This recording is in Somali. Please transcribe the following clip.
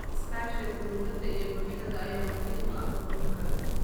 Iskaashiga dowladda iyo bulshada ayaa muhiim u ah horumarka.